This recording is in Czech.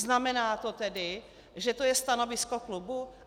Znamená to tedy, že to je stanovisko klubu?